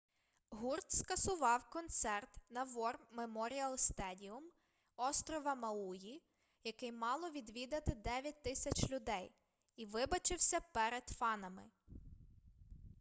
гурт скасував концерт на вор меморіал стедіум острова мауї який мало відвідати 9000 людей і вибачився перед фанами